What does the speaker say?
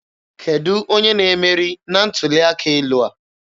Kedụ onye na-emeri na ntuli aka elu a?